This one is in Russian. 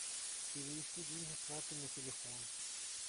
перевести деньги с карты на телефон